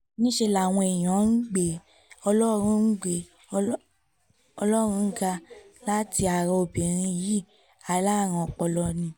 níṣẹ́ làwọn èèyàn ń gbé ọlọ́run gbé ọlọ́run ga láti ara obìnrin yìí alárùn ọpọlọ ni